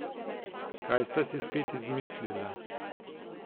Kaj sta si spet izmislila?